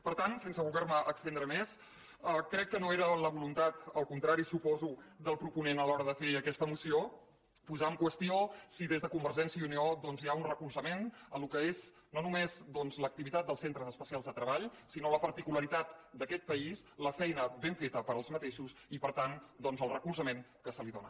per tant sense voler me estendre més crec que no era la voluntat al contrari suposo del proponent a l’hora de fer aquesta moció posar en qüestió si des de convergència i unió doncs hi ha un recolzament al que és no només l’activitat dels centres especials de treball sinó la particularitat d’aquest país la feina ben feta per aquests i per tant el recolzament que se’ls dóna